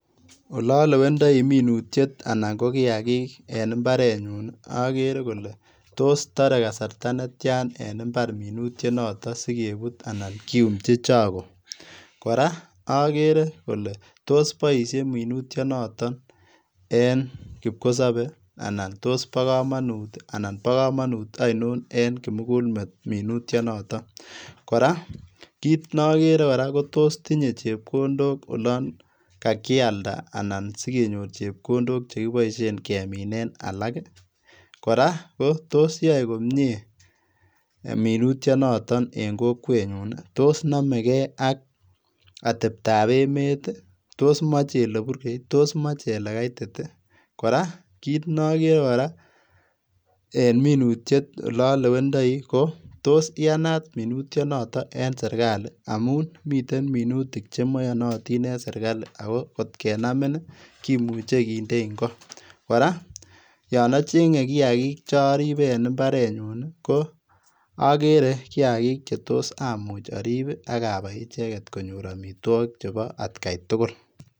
Ololewendoi minutiet anan ko kiagik en imarenyun okere kole tos toree kasarta netiany minutionoton sikebut anan kiyumchi chokoo? Koraa okeree kole tos boisien minutionoton en kipkosebe anan tos bo komonut anan bo komonut oinon en kimugulmet minutionoton? Koraa kitnogerekoraa kotos tinyee chepkondok olon kakialda anan sikenyor chepkondok keminen alak ii? Koraa kotos yoe komie minutionoton en kokwenyun ii? Tos nomegee ak ateptab emet ii? Tos moche ole burgei ii? Tos moche ole kaitit ii? Koraa kinogerekoraa en minutiet ololewendoi kotos iyanat minutionoton en sirkali amun miten minutik chemoyonotin en sirkali ako kotkenami kimuche kindein koo? Koraa yon ochengee kiagik choribee en imbarenyun okere kiagik chetos amuch orib iiak abai icheget konyor omitwogik cheboo atkaitugul.